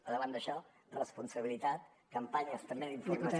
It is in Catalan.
al davant d’això responsabilitat campanyes també d’informació